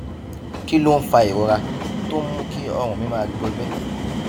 kí ló ń fa ìrora tó ń mú kí ọrùn mi máa gbọgbé